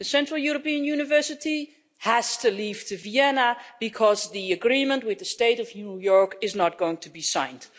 The Central European University has to move to Vienna because the agreement with the State of New York is not going to be signed